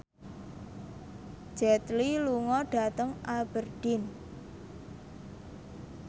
Jet Li lunga dhateng Aberdeen